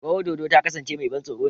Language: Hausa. Rawar dodo ta kasance mai ban tsoro ne.